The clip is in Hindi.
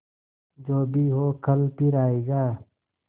जो भी हो कल फिर आएगा